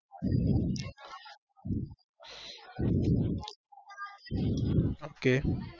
Okay